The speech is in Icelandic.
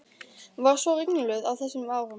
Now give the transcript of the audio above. Var svo ringluð á þessum árum.